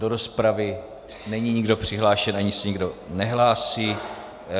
Do rozpravy není nikdo přihlášen ani se nikdo nehlásí.